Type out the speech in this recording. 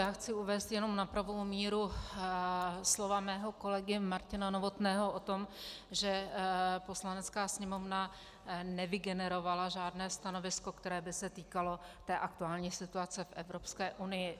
Já chci uvést jenom na pravou míru slova svého kolegy Martina Novotného o tom, že Poslanecká sněmovna nevygenerovala žádné stanovisko, které by se týkalo té aktuální situace v Evropské unii.